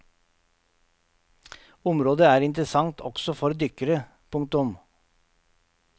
Området er interessant også for dykkere. punktum